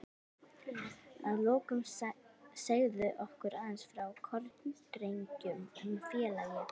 Að lokum segðu okkur aðeins frá Kórdrengjum sem félagi?